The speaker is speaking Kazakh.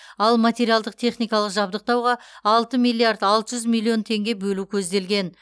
ал материалдық техникалық жабдықтауға алты миллиард алты жүз миллион теңге бөлу көзделген